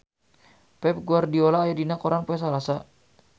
Pep Guardiola aya dina koran poe Salasa